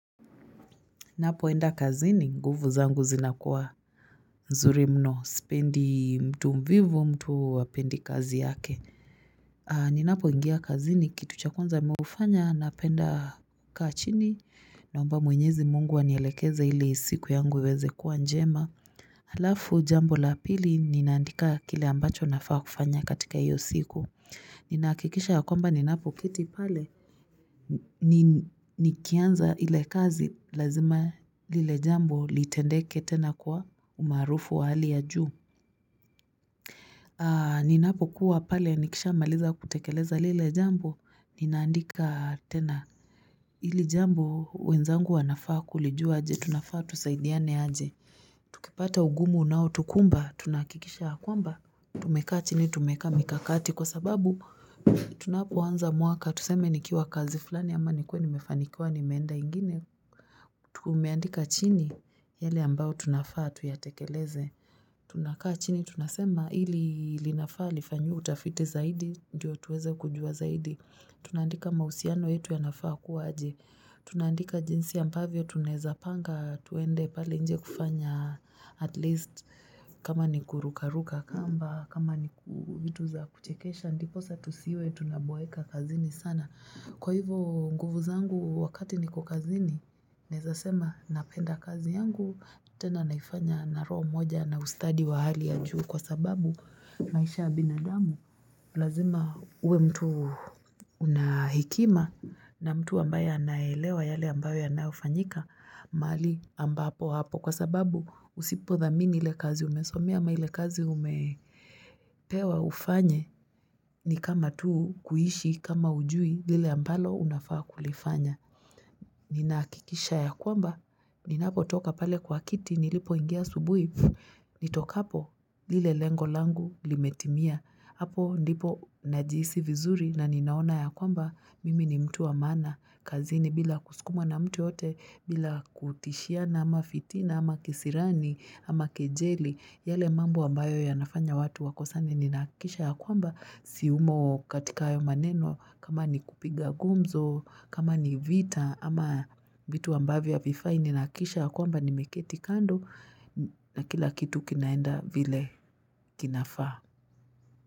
Ninapoenda kazi ni nguvu zangu zinakuwa mzuri mno. Sipendi mtu mvivu mtu wapendi kazi yake. Ni napo ingia kazi ni kitu chakunza mufanya na penda kachini. Na mba mwenyezi mungu waniyelekeza ili siku yangu weweze kuwa njema. Halafu jambo la pili ni naandika kile ambacho nafaa kufanya katika iyo siku. Ni nakikisha ya kwamba ni napo kitipale. Ni kianza hile kazi, lazima lile jambo litendeke tena kuwa umaarufu wa hali ya juu. Ninapo kuwa pale nikisha maliza kutekeleza lile jambo, ni naandika tena. Hili jambo, wenzangu wanafaa kulijua aje, tunafaa tusaidiane aje. Kipata ugumu nao tukumba, tunakikisha kwamba, tumeka chini tumeka mikakati. Kwa sababu tunapoanza mwaka, tuseme ni kiwa kazi fulani ama nikuwe ni mefanikua ni meenda ingine. Tumeandika chini yale ambao tunafaa tuyatekeleze. Tunakaa chini, tunasema ili linafaa, lifanyiwe utafite zaidi, diyo tuweze kujua zaidi. Tunandika mahusiano yetu ya nafaa kuwaji. Tunandika jinsi ya ambavyo tuneza panga, tuende pali nje kufanya at least kama ni kurukaruka, kamba kama ni kutuza kuchekesha. Ndiposa tusiwe tunabuweka kazini sana Kwa hivo nguvu zangu wakati niko kazini Nezasema napenda kazi yangu tena naifanya na roho moja na ustadi wa hali ya juu Kwa sababu maisha ya binadamu lazima uwe mtu unahikima na mtu ambaye anaelewa yale ambaye anafanyika mali ambapo hapo Kwa sababu usipodhamini ile kazi umesomia ama ile kazi umepewa ufanye ni kama tuu kuhishi kama ujui lile ambalo unafaa kulifanya. Ninaakikisha ya kwamba, ninapotoka pale kwa kiti, nilipo ingia subuhi, nitokapo lile lengo langu limetimia. Apo ndipo najisi vizuri na ninaona ya kwamba, mimi ni mtu wa mana. Kazini bila kusikuma na mtu yote, bila kutishiana ama fitina, ama kisirani, ama kejeli. Yale mambo ambayo ya nafanya watu wakosani ni nakisha ya kwamba siumo katika ayo maneno kama ni kupiga gumzo, kama ni vita ama bitu ambavya vifai ni nakisha ya kwamba ni meketi kando na kila kitu kinaenda vile kinafa.